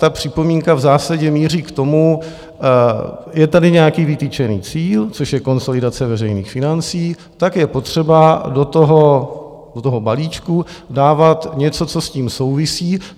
Ta připomínka v zásadě míří k tomu: je tady nějaký vytyčený cíl, což je konsolidace veřejných financí, tak je potřeba do toho balíčku dávat něco, co s tím souvisí.